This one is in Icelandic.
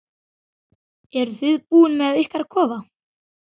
Eruð þið búnir með ykkar kofa?